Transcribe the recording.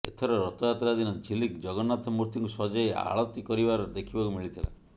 ଏଥର ରଥଯାତ୍ରା ଦିନ ଝିଲିକ୍ ଜଗନ୍ନାଥ ମୂର୍ତ୍ତିକୁ ସଜେଇ ଆଳତି କରିବାର ଦେଖିବାକୁ ମିଳିଥିଲା